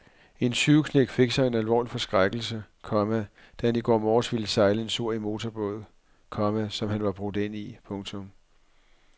En tyveknægt fik sig en alvorlig forskrækkelse, komma da han i går morges ville sejle en tur i en motorbåd, komma som han var brudt ind i. punktum